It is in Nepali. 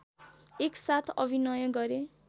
एक साथ अभिनय गरे